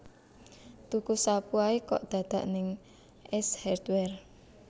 Tuku sapu ae kok dadak nang Ace Hardware